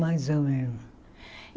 Mais ou menos.